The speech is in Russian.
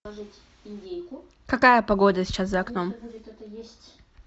какая погода сейчас за окном